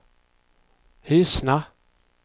Hyssna